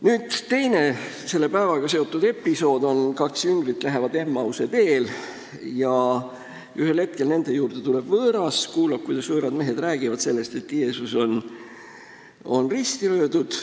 " Nüüd, teine selle päevaga seotud episood on see, kui kaks jüngrit kõnnivad Emmause teel ja ühel hetkel tuleb nende juurde võõras, kes kuulab, kuidas võõrad mehed räägivad sellest, et Jeesus on risti löödud.